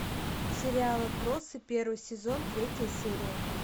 сериал отбросы первый сезон третья серия